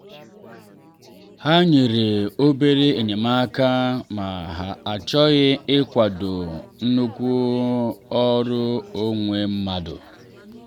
ha nyere obere enyemaka ma ha achọghị ịkwado nnukwu oru onwe mmadụ.